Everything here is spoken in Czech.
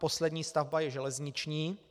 Poslední stavba je železniční.